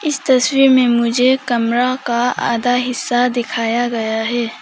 इस तस्वीर में मुझे कमरा का आधा हिस्सा दिखाया गया हैं।